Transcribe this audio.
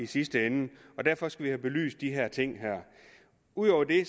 sidste ende og derfor skal vi have belyst de her ting ud over det